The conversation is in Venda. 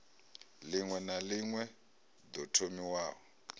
ḽiṅwe na ḽiṅwe ḓo thomiwaho